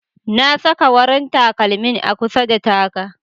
Na saka warin takalmin a kusa da taga.